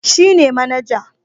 Shi ne manaja